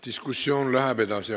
Diskussioon läheb edasi.